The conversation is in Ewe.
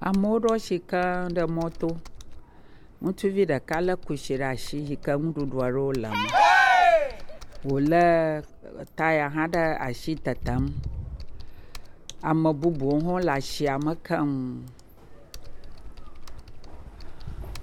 Amewo ɖo asi keŋ ɖe mɔto, ŋutsuvi ɖeka lé kusi ɖe asi yike nuɖuɖu aɖewo le me, wòlé taya hã ɖe asi tetem, ame bubuwo hã le asiame keŋ.